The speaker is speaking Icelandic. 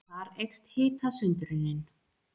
Þar eykst hitasundrunin.